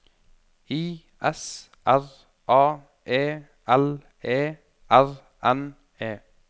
I S R A E L E R N E